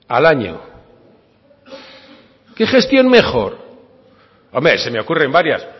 al año qué gestión mejor hombre se me ocurren varias